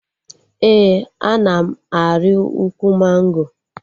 Ee, ana m arị ukwu mango